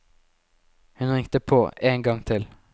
Hun ringte på én gang til.